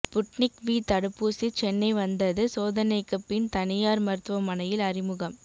Sputnik V தடுப்பூசி சென்னை வந்தது சோதனைக்கு பின் தனியார் மருத்துவமனையில் அறிமுகம்